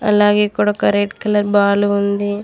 అలాగే ఇక్కడ ఒక రెడ్ కలర్ బాల్ ఉంది.